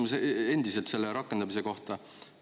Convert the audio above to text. Mul on endiselt küsimus rakendamise kohta.